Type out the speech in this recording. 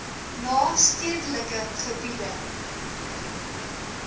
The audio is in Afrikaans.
na stedelike gebiede